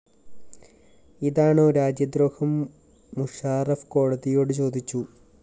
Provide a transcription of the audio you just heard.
ഇതാണോ രാജ്യദ്രോഹം മുഷാറഫ് കോടതിയോട് ചോദിച്ചു